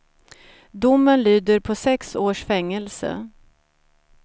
Domen lyder på sex års fängelse.